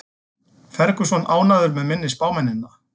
Ferguson ánægður með minni spámennina